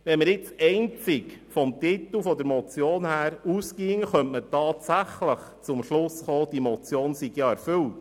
Wenn wir nun einzig vom Titel der Motion ausgingen, könnten wir tatsächlich zum Schluss kommen, die Motion sei erfüllt.